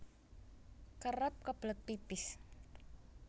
Kerep kebelet pipis